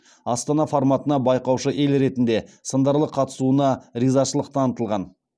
астана форматына байқаушы ел ретінде сындарлы қатысуына ризашылық танытылған